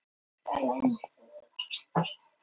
Kvöldin voru verst.